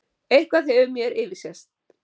Eitthvað hefur mér yfirsést.